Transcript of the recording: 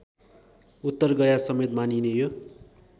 उत्तरगयासमेत मानिने यो